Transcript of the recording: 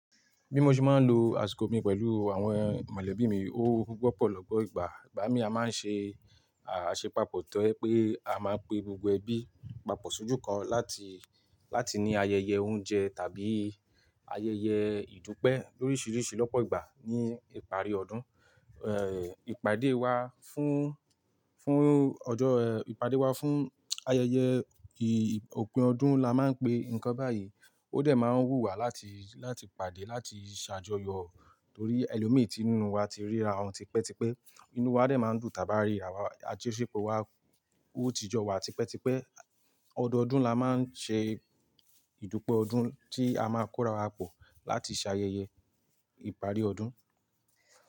Bí mo ṣe máa ń lo àsìkò mi pẹ̀lú àwọn mọ̀lẹ́bí mi, ó wọ́pọ̀ lọ́gbo ìgbà. Ìgbà mí a máa ń ṣe àṣepàpọ̀ tó jẹ pé a máa pe gbogbo ẹbí papọ̀ sójú kan láti, láti ní ayẹyẹ oúnjẹ tàbí ayẹyẹ ìdúpẹ́ lóríṣiríṣi lọ́pọ̀ ìgbà ní ìparí ọdún. Ìpàdé wa fún, fún ọjọ́ ìpàdé wa fún ayẹyẹ òpin ọdún la máa ń pe nǹkan báyìí. Ó dẹ̀ máa ń wù wá láti, láti pàdé, láti ṣàjọyọ̀ torí ẹlòmí nínú wa ti ríra wa tipẹ́tipẹ́. Inú wa dẹ̀ máa ń dùn tàba ríra wá àtúnṣe pò wa ó ti jọ wá tipẹ́tipẹ́. Ọdọọdún la máa ń ṣe ìdúpẹ́ ọdún tí a máa kóra wa pọ̀ láti ṣe ayẹyẹ ìparí ọdún.